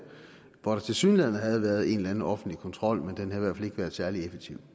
hvor der tilsyneladende havde været en eller anden offentlig kontrol men den havde været særlig effektiv